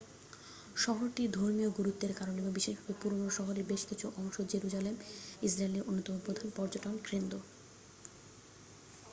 শহরটির ধর্মীয় গুরুত্বের কারণে এবং বিশেষভাবে পুরনো শহরের বেশকিছু অংশ জেরুজালেম ইসরাইলের অন্যতম প্রধান পর্যটন কেন্দ্র